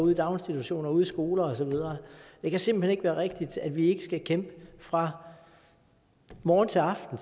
i daginstitutioner ude i skoler og så videre det kan simpelt hen ikke være rigtigt at vi ikke skal kæmpe fra morgen til aften